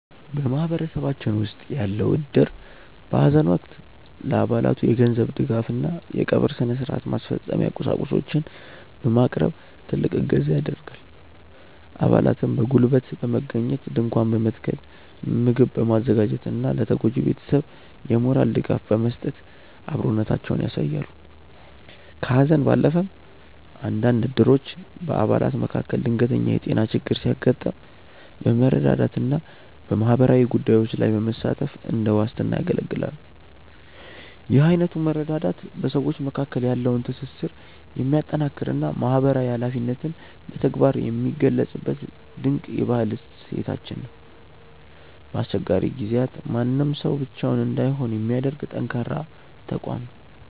በማህበረሰባችን ውስጥ ያለው እድር በሐዘን ወቅት ለአባላቱ የገንዘብ ድጋፍና የቀብር ሥነ-ሥርዓት ማስፈጸሚያ ቁሳቁሶችን በማቅረብ ትልቅ እገዛ ያደርጋል። አባላትም በጉልበት በመገኘት ድንኳን በመትከል፣ ምግብ በማዘጋጀትና ለተጎጂው ቤተሰብ የሞራል ድጋፍ በመስጠት አብሮነታቸውን ያሳያሉ። ከሐዘን ባለፈም፣ አንዳንድ እድሮች በአባላት መካከል ድንገተኛ የጤና ችግር ሲያጋጥም በመረዳዳትና በማህበራዊ ጉዳዮች ላይ በመሳተፍ እንደ ዋስትና ያገለግላሉ። ይህ አይነቱ መረዳዳት በሰዎች መካከል ያለውን ትስስር የሚያጠናክርና ማህበራዊ ኃላፊነትን በተግባር የሚገልጽበት ድንቅ የባህል እሴታችን ነው። በአስቸጋሪ ጊዜያት ማንም ሰው ብቻውን እንዳይሆን የሚያደርግ ጠንካራ ተቋም ነው።